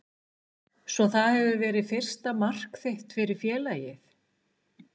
Svo það hefur verið fyrsta mark þitt fyrir félagið?